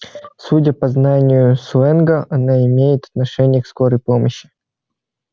судя по знанию сленга она имеет отношение к скорой помощи